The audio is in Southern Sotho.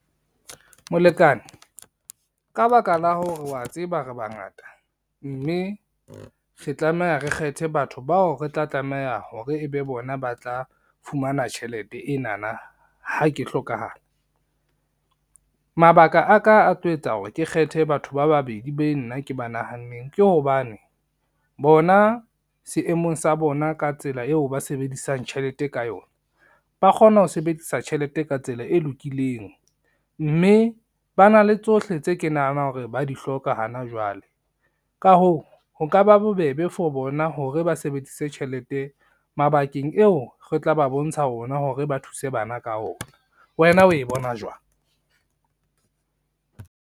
Molekane, ka baka la hore wa tseba re bangata, mme re tlameha re kgethe batho bao re tla tlameha hore ebe bona ba tla fumana tjhelete enana ha ke hlokahala. Mabaka aka a tlo etsa hore ke kgethe batho ba babedi be nna ke ba nahanneng ke hobane, bona seemong sa bona ka tsela eo ba sebedisang tjhelete ka yona, ba kgona ho sebedisa tjhelete ka tsela e lokileng, mme ba na le tsohle tse ke nahanang hore ba di hloka hana jwale, ka hoo ho ka ba bobebe for bona hore ba sebedise tjhelete mabakeng eo re tla ba bontsha ona hore ba thuse bana ka ona. Wena o e bona jwang?